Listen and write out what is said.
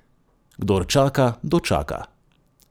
Kdor čaka, dočaka!